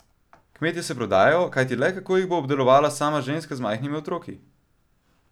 Kmetije se prodajo, kajti le kako jih bo obdelovala sama ženska z majhnimi otroki?